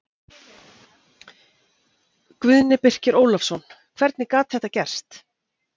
Guðni Birkir Ólafsson Hvernig gat þetta gerst?